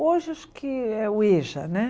Hoje acho que é o Eja, né?